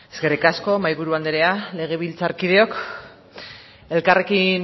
eskerrik asko mahaiburu anderea legebiltzarkideok elkarrekin